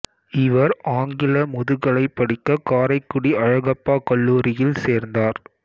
இவர் ஆங்கில முதுகலை படிக்க காரைக்குடி அழகப்பா கல்லூரியில் சேர்ந்தார்